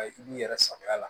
I b'i yɛrɛ sagoya la